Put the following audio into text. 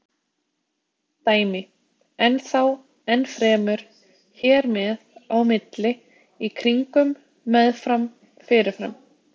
Dæmi: enn þá, enn fremur, hér með, á milli, í kringum, með fram, fyrir fram.